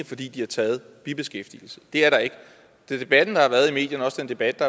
fordi de har taget bibeskæftigelse det er der ikke debatten der har været i medierne og også den debat